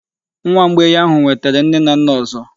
Nwa mgbei ahụ nwetere nne na nna ọzọ.